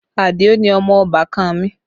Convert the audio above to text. Adio ni ọmọ ọbàkan mi